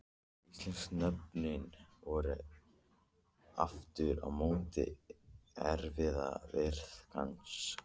Íslensku nöfnin voru aftur á móti erfiðari viðfangs.